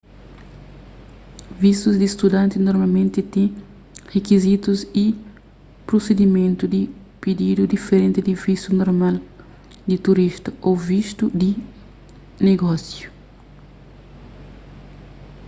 vistus di studanti normalmenti ten rikizitus y prusidimentu di pididu diferenti di vistu normal di turista ô vistu di negósiu